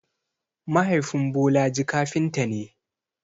Mahaifin Bolaji kafinta ne.